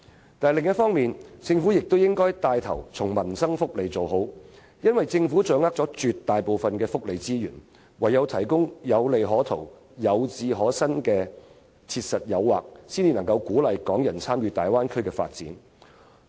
不過，另一方面，政府應牽頭做好民生福利，因為政府掌握了大部分福利資源，只有提供有利可圖、有志可伸的切實誘因，才能鼓勵港人參與大灣區發展。